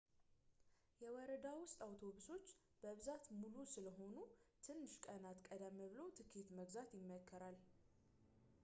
የወረዳ ውስጥ አውቶቡሶች በብዛት ሙሉ ስለሆኑ ትንሽ ቀናት ቀደም ብሎ ትኬት መግዛት ይመከራል